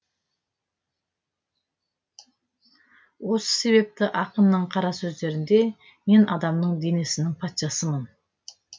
осы себепті ақынның қара сөздерінде мен адамның денесінің патшасымын